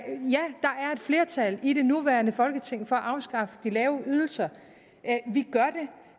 flertal i det nuværende folketing for at afskaffe de lave ydelser